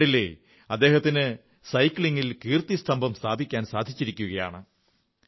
ഇന്ന് കണ്ടില്ലേ അദ്ദേഹത്തിന് സൈക്ലിംഗിൽ കീർത്തിസ്തംഭം സ്ഥാപിക്കാൻ സാധിച്ചിരിക്കയാണ്